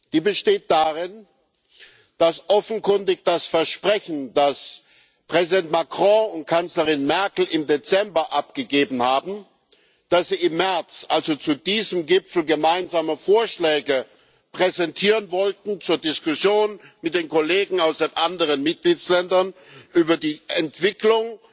Die besteht darin, dass offenkundig das Versprechen, das Präsident Macron und Kanzlerin Merkel im Dezember abgegeben haben, dass sie im März, also zu diesem Gipfel, gemeinsame Vorschläge zur Diskussion mit den Kollegen aus den anderen Mitgliedstaaten über die Entwicklung